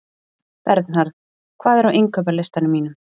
Bernharð, hvað er á innkaupalistanum mínum?